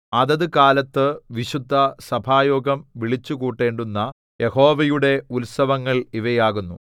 അതതുകാലത്തു വിശുദ്ധസഭായോഗം വിളിച്ചുകൂട്ടേണ്ടുന്ന യഹോവയുടെ ഉത്സവങ്ങൾ ഇവയാകുന്നു